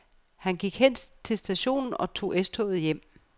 Han gik hen til stationen og tog S-toget hjem.